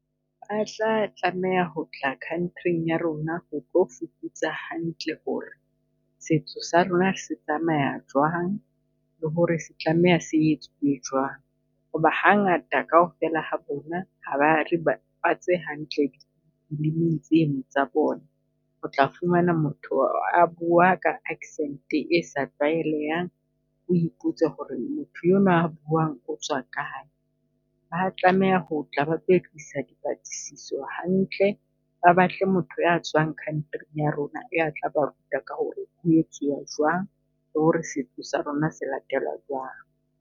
A tla tlameha ho tla Country-ng ya rona ho tlo fuputsa hantle ho re setso sa rona se tsamaya jwang, le ho re se tlameha se etswe jwang? Ho ba ha ngata kaofela ha bona ha ba re bapatse hantle di movie-ng tseno tsa bona. O tla fumana motho a bua ka accent-e sa tlwaelehang, o ipotse ho re motho enwa a buang otswa kae? Ba tlameha ho tla ba itsisisa di patlisiso hantle, ba batle motho ya tswang country ya rona ya tla ba ruta ka ho re ho etsuwa jwang? Le ho re setso sa rona se latelwa jwang?